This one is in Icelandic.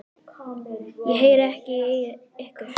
Ég heyri ekki í ykkur.